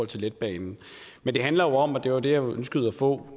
til letbanen men det handler jo om og det var det jeg ønskede at få